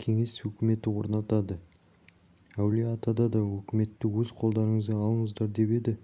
кеңес өкіметі орнады әулиеатада да өкіметті өз қолдарыңызға алыңыздар деп еді